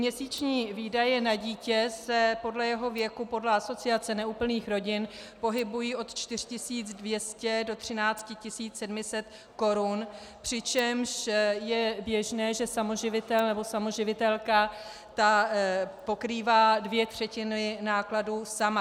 Měsíční výdaje na dítě se podle jeho věku podle Asociace neúplných rodin pohybují od 4 200 do 13 700 korun, přičemž je běžné, že samoživitel nebo samoživitelka pokrývá dvě třetiny nákladů sama.